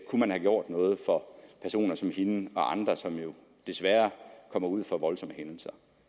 man have gjort noget for personer som hende og andre som desværre kommer ud for voldsomme hændelser